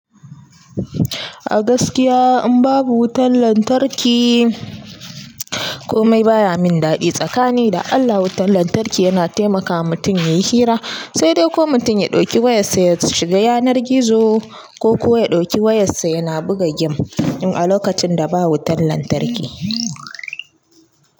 A gaskiya in babu wutan lantarki komai baya min daɗi. Tsakani da Allah wutan lantarki yana taimakawa mutum yayi hira sai dai ko mutum ya ɗauki wayarsa ya shiga yanar gizo ko kuwa ya ɗoki wayarsa yana buga game in a lokacin da babu wutan lantarki.